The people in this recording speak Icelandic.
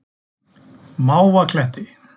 Mávakletti